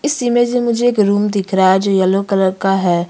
इस इमेजीन मुझे एक रूम दिख रहा है जो यल्लो कलर का है।